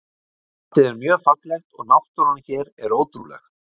Landið er mjög fallegt og náttúran hér er ótrúleg.